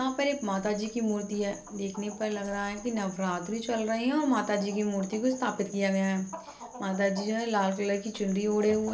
यहाँ पर एक माताजी की मूर्ति है देखने पर लग रहा है की नवरात्रि चल रही हैं और माता जी की मूर्ति को स्थापित किया गया है माता जी जो हैं लाल कलर की चुनरी ओढ़े हुए है।